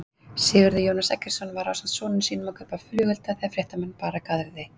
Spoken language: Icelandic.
Sigurður Jónas Eggertsson var ásamt sonum sínum að kaupa flugelda þegar fréttamann bar að garði?